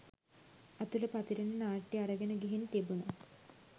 අතුල පතිරණ නාට්‍ය අරගෙන ගිහින් තිබුණ.